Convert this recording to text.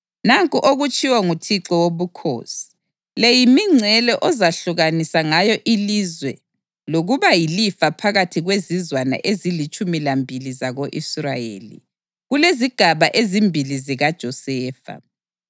Nanku okutshiwo nguThixo Wobukhosi: “Le yimingcele ozakwehlukanisa ngayo ilizwe lokuba yilifa phakathi kwezizwana ezilitshumi lambili zako-Israyeli, kulezigaba ezimbili zikaJosefa.